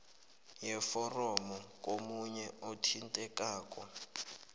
yeforomo komunye othintekako